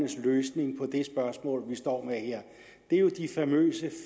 løsning på det spørgsmål vi står med her er jo de famøse